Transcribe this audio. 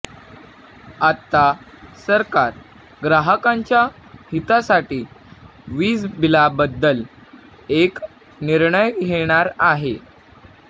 आता सरकार ग्राहकांच्या हितासाठी वीजबिलाबद्दल एक निर्णय घेणार आहे